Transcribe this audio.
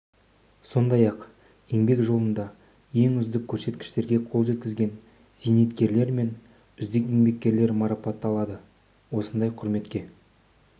сондай-ақ еңбек жолында ең үздік көрсеткіштерге қол жеткізген зейнеткерлер мен үздік еңбеккерлер марапатталады осындай құрметке